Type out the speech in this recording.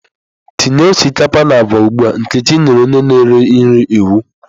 Tinye osikapa na agwa ugbu a! Nkechi nyere onye na-ere nri iwu.